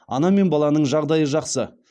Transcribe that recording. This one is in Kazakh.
ана мен баланың жағдайы жақсы